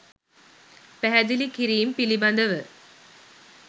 පැහැදිලිකිරීම් පිළිබඳව